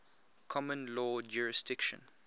common law jurisdiction